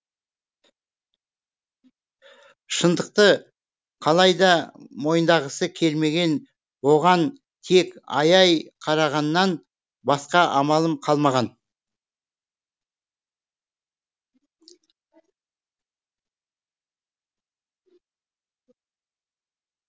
шындықты қалайда мойындағысы келмеген оған тек аяй қарағаннан басқа амалым қалмаған